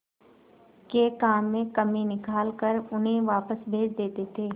के काम में कमी निकाल कर उन्हें वापस भेज देते थे